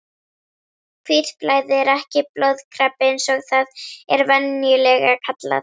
Hvítblæði er ekki blóðkrabbi eins og það er venjulega kallað.